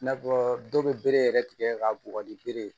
I n'a fɔ dɔw bɛ bere yɛrɛ tigɛ k'a bugɔ ni bere ye